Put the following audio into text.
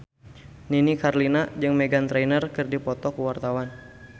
Nini Carlina jeung Meghan Trainor keur dipoto ku wartawan